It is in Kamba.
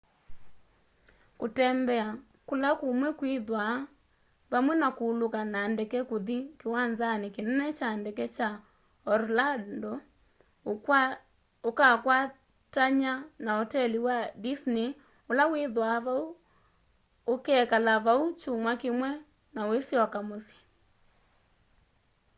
kutembea kúla kúmwe” kwithwaa vamwe na kuuluka na ndeke kuthi kiwanzani kinene kya ndeke kya orlando ukakwatany'a na oteli wa disney ula withwaa vau ukekala vau kyumwa kimwe na uisyoka musyi